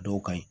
Dɔw ka ɲi